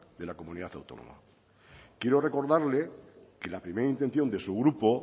de la comunidad autónoma quiero recordarle que la primera intención de su grupo